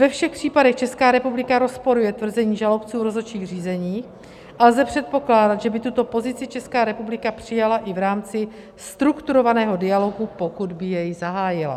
Ve všech případech Česká republika rozporuje tvrzení žalobců rozhodčích řízení a lze předpokládat, že by tuto pozici Česká republika přijala i v rámci strukturovaného dialogu, pokud by jej zahájila.